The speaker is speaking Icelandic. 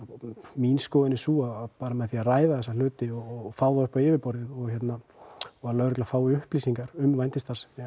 mín skoðun er sú að bera með að ræða þessa hluti og fá þetta upp á yfirborðið að lögregla fái upplýsingar um vændisstarfsemi